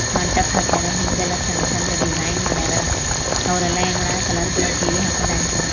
ಮಂಟಪ ಹಾಕ್ಯಾರ ಇಂದಲ್ಲ ಚಂದ್ ಚಂದ್ ಡಿಸೈನ್ ಮಾಡಿಯಾರ ಅವರೆಲ್ಲಾ ಏನ್ ಮಾಡ್ಯಾರ ಕಲರ್ ಕಲರ್ ಸೀರೆ ಹಾಕೊಂಡು ಡ್ಯಾನ್ಸ್ ಮಾಡಕತ್ತಾರ.